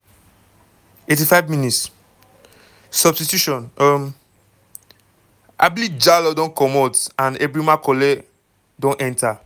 85 mins- substitution um ablie jallow don comot and ebrima colley don enta.